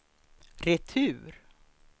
retur